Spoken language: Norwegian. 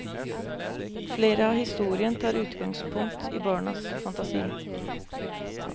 Flere av historien tar utgangspunkt i barns fantasi.